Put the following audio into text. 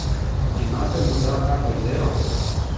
Imate morda kako idejo?